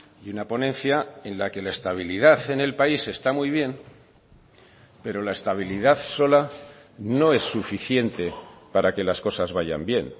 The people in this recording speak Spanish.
y una ponencia en la que la estabilidad en el país está muy bien pero la estabilidad sola no es suficiente para que las cosas vayan bien